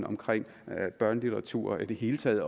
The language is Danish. omkring børnelitteratur og i det hele taget